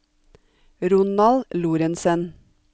Ronald Lorentsen